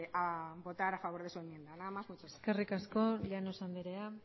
a votar a favor de su enmienda nada más muchas gracias eskerrik asko llanos andrea